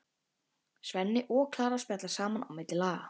Svenni og Klara spjalla saman á milli laga.